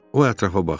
O ətrafa baxdı.